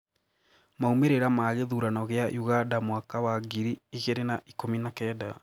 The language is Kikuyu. Maumĩrĩra ma gĩthurano gĩa Uganda mwaka wa ngiri igĩri na ikũmi na kenda